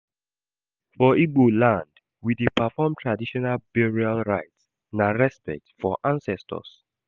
For Igbo land, we dey perform traditional burial rites, na respect for ancestors.